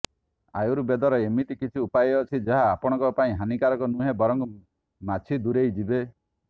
ଆୟୁର୍ବେଦର ଏମିତି କିଛି ଉପାୟ ଅଛି ଯାହା ଆପଣଙ୍କ ପାଇଁ ହାନିକାରକ ନୁହେଁ ବରଂ ମାଛି ଦୂରେଇ ଯିବେ